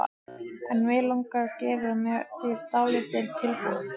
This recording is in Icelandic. En mig langar að gera þér dálítið tilboð.